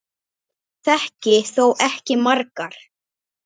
Ég þekki þó ekki margar.